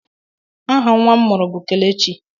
Aha nnwa m mụrụ bụ Kelechi